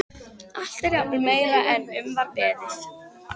Allt er jafnvel meira en um var beðið.